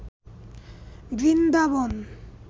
Vrindavan